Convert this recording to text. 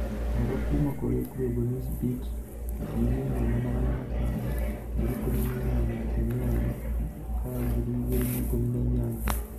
Ũhoro kuuma kũrĩ Global Newsbeat 1500 18/01/2018